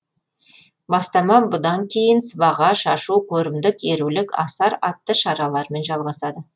бастама бұдан кейін сыбаға шашу көрімдік ерулік асар атты шаралармен жалғасады